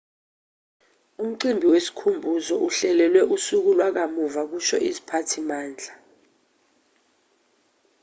umcimbi wesikhumbuzo uhlelelwe usuku lwakamuva kusho iziphathimandla